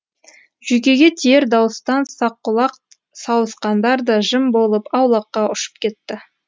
жүйкеге тиер дауыстан саққұлақ сауысқандар да жым болып аулаққа ұшып кетті